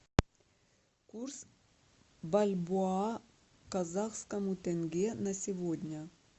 курс бальбоа к казахскому тенге на сегодня